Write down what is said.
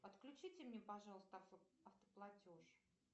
отключите мне пожалуйста автоплатеж